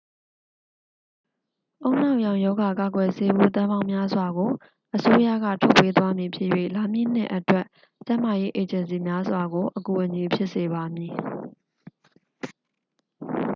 ဦးနှောက်ရောင်ရောဂါ ကာကွယ်ဆေးဘူး သန်းပေါင်းများစွာကို အစိုးရက ထုတ်ပေးသွားဖြစ်မည်၍ လာမည့်နှစ်အတွက် ကျန်းမာရေးအေဂျင်စီများစွာကို အကူအညီဖြစ်စေပါမည်